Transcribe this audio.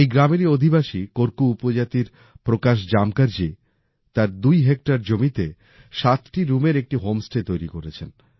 এই গ্রামেরই অধিবাসী কোরকু উপজাতির প্রকাশ জামকার জি তার দুই হেক্টর জমিতে সাতটি রুমের একটি হোম স্টে তৈরি করেছেন